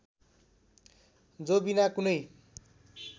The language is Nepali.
जो बिना कुनै